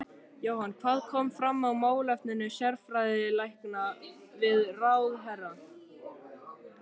Jóhann, hvað kom fram í málefnum sérfræðilækna við ráðherra?